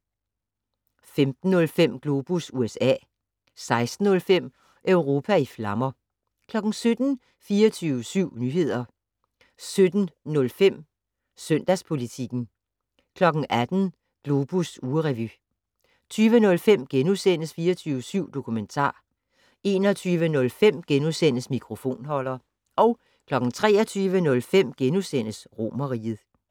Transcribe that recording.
15:05: Globus USA 16:05: Europa i flammer 17:00: 24syv Nyheder 17:05: Søndagspolitikken 18:05: Globus ugerevy 20:05: 24syv Dokumentar * 21:05: Mikrofonholder * 23:05: Romerriget *